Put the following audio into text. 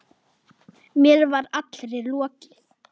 Mér var allri lokið.